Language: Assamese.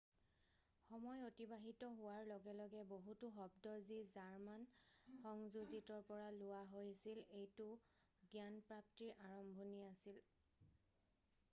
সময় অতিবাহিত হোৱাৰ লগে লগে বহুতো শব্দ যি জাৰ্মান সংযোজিতৰ পৰা লোৱা হৈছিল৷ এইটো জ্ঞানপ্ৰাপ্তিৰ আৰম্ভণি আছিল৷